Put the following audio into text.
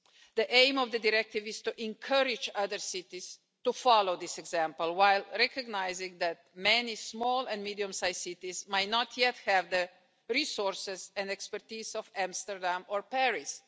The aim of the directive is to encourage other cities to follow this example, while recognising that many small and medium sized cities might not yet have the resources and expertise of Amsterdam or Paris.